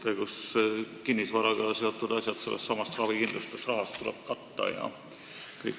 Meil toimib see nii, et kinnisvaraga seotud kulud tuleb katta ravikindlustusrahast.